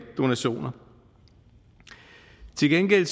donationer til gengæld